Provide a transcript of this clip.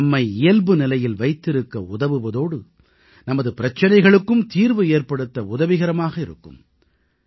இது நம்மை இயல்புநிலையில் வைத்திருக்க உதவுவதோடு நமது பிரச்சனைகளுக்கும் தீர்வு ஏற்படுத்த உதவிகரமாக இருக்கும்